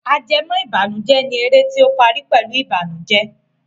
Ajẹmọ́ìbànújẹ́ ni eré tí ó parí pẹ̀lú Ìbànùjẹ́